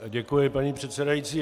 Děkuji, paní předsedající.